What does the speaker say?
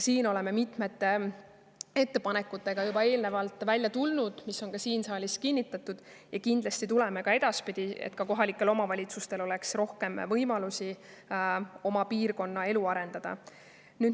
Me oleme juba välja tulnud mitmete ettepanekutega, mis on ka siin saalis heaks kiidetud, ja kindlasti tuleme ka edaspidi, et kohalikel omavalitsustel oleks rohkem võimalusi oma piirkonna elu arendada.